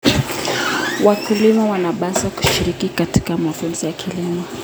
Wakulima wanapaswa kushiriki katika mafunzo ya kilimo.